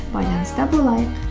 байланыста болайық